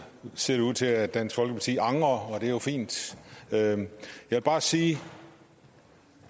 ser det ud til at dansk folkeparti angrer og det er jo fint jeg vil bare sige